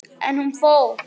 En hún fór.